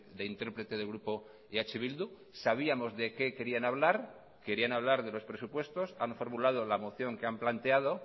de interprete del grupo eh bildu sabíamos de qué querían hablar querían hablar de los presupuestos han formulado la moción que han planteado